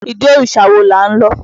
Ìdí òrìṣà wo là ń lọ?